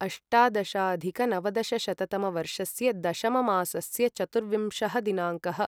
अष्टादशाधिकनवदशशततमवर्षस्य दशममासस्य चतुर्विंशः दिनाङ्कः